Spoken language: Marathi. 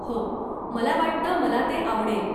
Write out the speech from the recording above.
हो, मला वाटतं मला ते आवडेल.